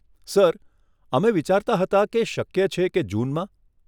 Sir, અમે વિચારતા હતા કે શક્ય છે કે જૂનમાં?